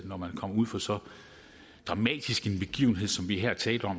når man kommer ud for så dramatisk en begivenhed som vi her taler